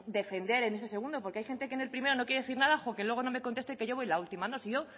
defender en ese segundo porque hay gente que en ese primero no quiere decir nada jo que no me conteste que yo voy la última no si yo